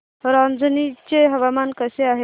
रांझणी चे हवामान कसे आहे